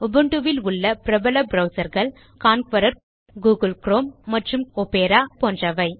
உபுண்டுவில் உள்ள பிரபல ப்ரவ்சர் கள் கான்கரர் மற்றும் கூகிள் குரோம் ஒப்பேரா போன்றவை